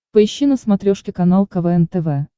поищи на смотрешке канал квн тв